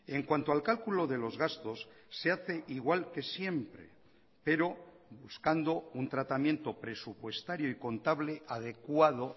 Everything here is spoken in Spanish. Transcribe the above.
en cuanto al cálculo de los gastos se hace igual que siempre pero buscando un tratamiento presupuestario y contable adecuado